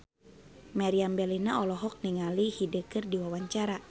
Meriam Bellina olohok ningali Hyde keur diwawancara